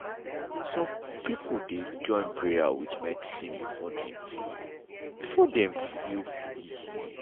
some people dey join prayer with medicine before dem feel before dem feel fully healed.